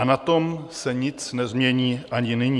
A na tom se nic nezmění ani nyní."